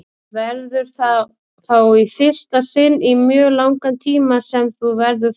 Verður það þá í fyrsta sinn í mjög langan tíma sem þú verður þar?